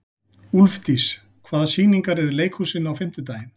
Úlfdís, hvaða sýningar eru í leikhúsinu á fimmtudaginn?